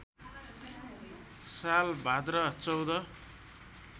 साल भाद्र १४